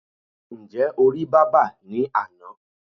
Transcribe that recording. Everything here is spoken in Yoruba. Ǹjẹ́ o rí bábà ní àná?